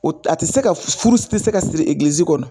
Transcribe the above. O a tɛ se ka furu ti se ka siri kɔnɔ